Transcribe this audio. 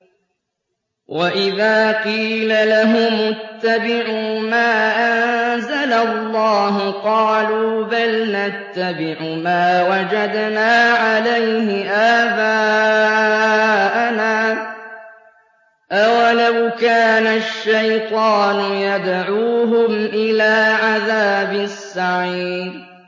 وَإِذَا قِيلَ لَهُمُ اتَّبِعُوا مَا أَنزَلَ اللَّهُ قَالُوا بَلْ نَتَّبِعُ مَا وَجَدْنَا عَلَيْهِ آبَاءَنَا ۚ أَوَلَوْ كَانَ الشَّيْطَانُ يَدْعُوهُمْ إِلَىٰ عَذَابِ السَّعِيرِ